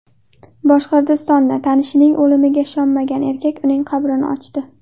Boshqirdistonda tanishining o‘limiga ishonmagan erkak uning qabrini ochdi.